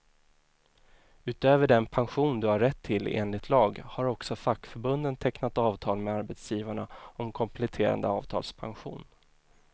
Utöver den pension du har rätt till enligt lag, har också fackförbunden tecknat avtal med arbetsgivarna om kompletterande avtalspension.